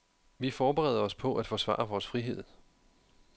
Vi forbereder os på at forsvare vores frihed.